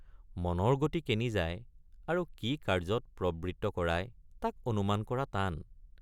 মনৰ গতি কেনি যায় আৰু কি কাৰ্যত প্ৰবৃত্ত কৰায় তাক অনুমান কৰা টান ।